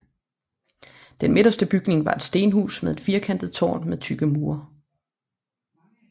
Den midterste bygning var et stenhus med et firkantet tårn med tykke mure